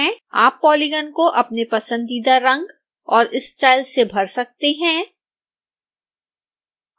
आप पॉलीगन को अपने पसंदीदा रंग और स्टाइल से भर सकते हैं